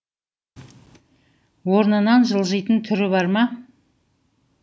орнынан жылжитын түрі бар ма